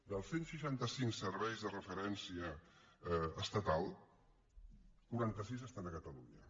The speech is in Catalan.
dels cent i seixanta cinc serveis de referència estatal quaranta sis estan a catalunya